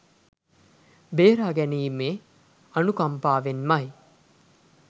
බේරා ගැනීමේ අනුකම්පාවෙන්මයි.